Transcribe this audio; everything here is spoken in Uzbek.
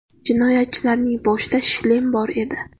Jinoyatchilarning boshida shlem bor edi.